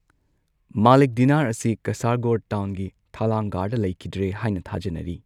ꯃꯥꯂꯤꯛ Dinar ꯑꯁꯤ ꯀꯁꯥꯔꯒꯣꯗ ꯇꯥꯎꯟꯒꯤ ꯊꯂꯥꯡꯒꯥꯔ ꯂꯩꯈꯤꯗ꯭ꯔꯦ ꯍꯥꯏꯅ ꯊꯥꯖꯅꯔꯤ꯫